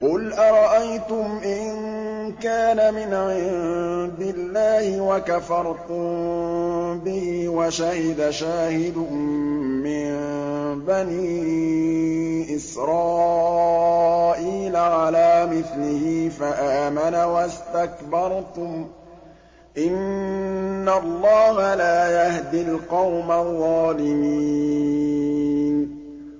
قُلْ أَرَأَيْتُمْ إِن كَانَ مِنْ عِندِ اللَّهِ وَكَفَرْتُم بِهِ وَشَهِدَ شَاهِدٌ مِّن بَنِي إِسْرَائِيلَ عَلَىٰ مِثْلِهِ فَآمَنَ وَاسْتَكْبَرْتُمْ ۖ إِنَّ اللَّهَ لَا يَهْدِي الْقَوْمَ الظَّالِمِينَ